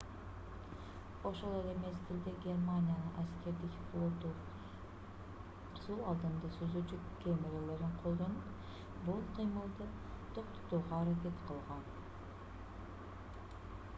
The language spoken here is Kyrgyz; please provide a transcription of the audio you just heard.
ошол эле мезгидлде германиянын аскердик флоту суу алдында сүзүүчү кемелерин колдонуп бул кыймылды токтотууга аракет кылган